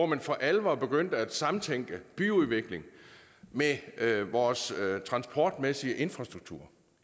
man for alvor begyndte at samtænke byudvikling med vores transportmæssige infrastruktur